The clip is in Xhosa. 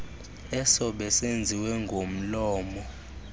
eso besenziwe ngomlomo